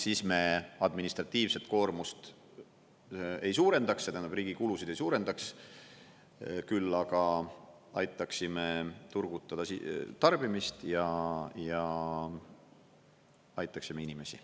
Siis me administratiivset koormust ei suurendaks, see tähendab riigi kulusid ei suurendaks, küll aga aitaksime turgutada tarbimist ja aitaksime inimesi.